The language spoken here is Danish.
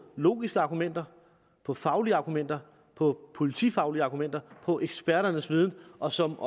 logiske argumenter på faglige argumenter på politifaglige argumenter på eksperternes viden og som